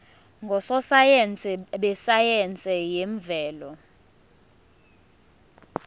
ngososayense besayense yemvelo